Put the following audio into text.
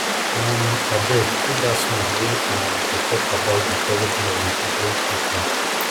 um abeg put dat song wey um dey talk about the origin of the igbo people